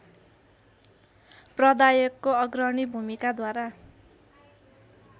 प्रदायकको अग्रणी भूमिकाद्वारा